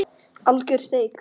Alger steik